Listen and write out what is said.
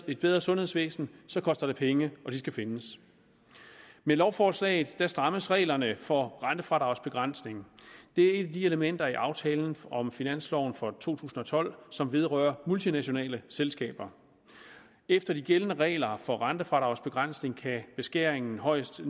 et bedre sundhedsvæsen så koster det penge og de skal findes med lovforslaget strammes reglerne for rentefradragsbegrænsning det er et af de elementer i aftalen om finansloven for to tusind og tolv som vedrører multinationale selskaber efter de gældende regler for rentefradragsbegrænsning kan beskæringen højst